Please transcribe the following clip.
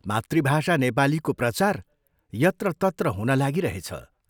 मातृभाषा नेपालीको प्रचार यत्रतत्र हुन लागिरहेछ।